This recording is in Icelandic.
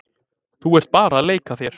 Þú ert bara að leika þér.